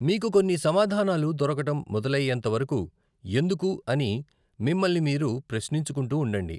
మీకు కొన్ని సమాధానాలు దొరకడం మొదలయ్యేంత వరకు, 'ఎందుకు?,' అని మిమ్మల్ని మీరు ప్రశ్నించుకుంటూ ఉండండి.